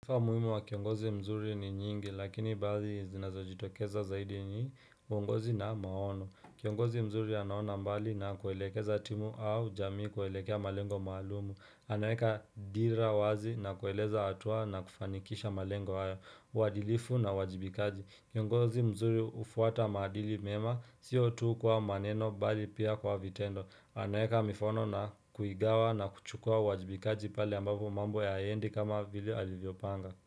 Umuhimu wa kiongozi mzuri ni nyingi, lakini baadhi zinazojitokeza zaidi ni uongozi na maono. Kiongozi mzuri anaona mbali na kuelekeza timu au jamii kuelekea malengo maalum. Anaeka dira wazi na kueleza hatua na kufanikisha malengo hayo, uadilifu na uwajibikaji. Kiongozi mzuri hufuata maadili mema, sio tu kwa maneno bali pia kwa vitendo. Anaeka mifano na kuigawa na kuchukua uwajibikaji pale ambapo mambo hayaendi kama vile alivyopanga.